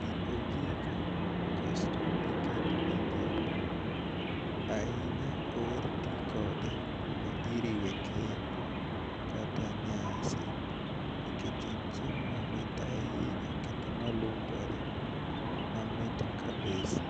gi ojiko, kasto ikete e dhok, ahinya oher tii kode kama iriwe keny kata nyasi nikech en chiemo mamit ahinya kendo malungore mamit kabisa